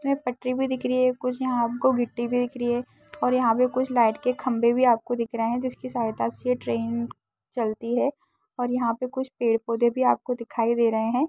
इसमें पटरी भी दिख रही है कुछ यहाँ आपको गिट्टी भी दिख री है औरयहाँ पे कुछ लाइट के खम्भे भी आपको दिख रहे है जिसकी सहायता से ट्रेन चलती है और यहाँ पे कुछ पेड़-पौधे भी आपको दिखाई दे रहे है।